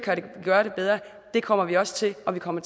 gøre det bedre det kommer vi også til og vi kommer